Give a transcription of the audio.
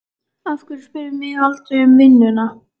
Af hverju spyrðu mig aldrei um vinnuna?